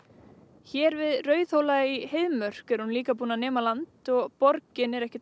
hér við Rauðhóla í Heiðmörk er hún líka búin að nema land og borgin er ekkert